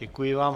Děkuji vám.